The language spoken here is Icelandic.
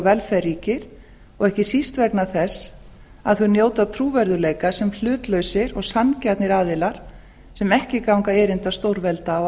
velferð ríkir og ekki síst vegna þess að þau njóta trúverðugleika sem hlutlausir og sanngjarnir aðilar sem ekki ganga erinda stórvelda á